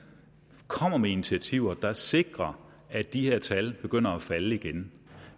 komme med initiativer der sikrer at de her tal begynder at falde igen